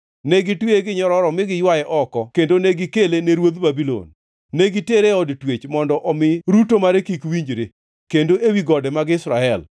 Ne gitweye gi nyororo mi giywaye oko kendo negikele ne ruodh Babulon. Ne gitere e od twech, mondo omi ruto mare kik winjre, kendo ewi gode mag Israel.